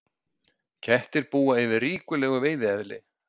Kettir búa yfir ríkulegu veiðieðli.